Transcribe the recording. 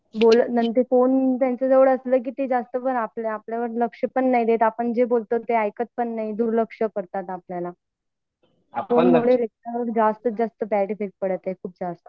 phone त्यांच्याजवळ असला तर ते आपल्या आपल्याकडे लक्ष पण नाही देतआपण जे बोलतो ते एकत पण नाही दुर्लक्ष करतात आपल्याला त्युमुळे जस्ताच्या जास्त बॅड इफेक्ट पडत आहे